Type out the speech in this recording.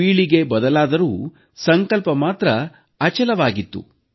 ಪೀಳಿಗೆ ಬದಲಾದರೂ ಸಂಕಲ್ಪ ಮಾತ್ರ ಅಚಲವಾಗಿತ್ತು